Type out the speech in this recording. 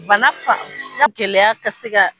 Bana fa gɛlɛya ka sega.